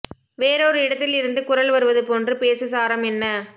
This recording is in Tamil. வேறோர் இடத்தில் இருந்து குரல் வருவது போன்று பேசு சாரம் என்ன